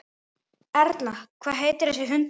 Erla: Hvað heitir þessi hundur?